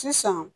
Sisan